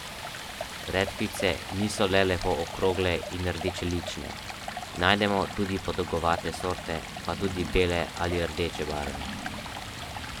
Redkvice niso le lepo okrogle in rdečelične, najdemo tudi podolgovate sorte pa tudi bele ali rdeče barve.